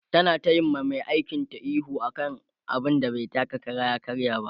ta na tayi wa Mai aikin ta ihu akan abun da bai taka Kara ya karya ba